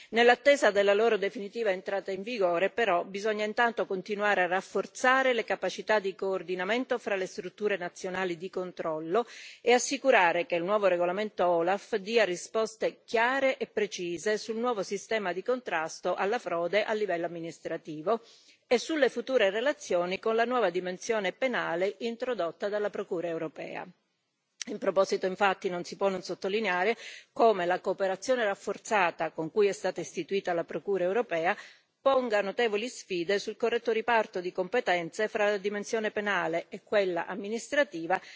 Nell'attesa della loro definitiva entrata in vigore, però, bisogna intanto continuare a rafforzare le capacità di coordinamento fra le strutture nazionali di controllo e assicurare che il nuovo regolamento OLAF dia risposte chiare e precise sul nuovo sistema di contrasto alla frode a livello amministrativo e sulle future relazioni con la nuova dimensione penale introdotta dalla Procura europea. In proposito, infatti, non si può non sottolineare come la cooperazione rafforzata con cui è stata istituita la Procura europea ponga notevoli sfide sul corretto riparto di competenze fra la dimensione penale e quella amministrativa,